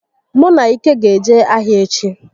Mụ na Ike ga eje ahịa echi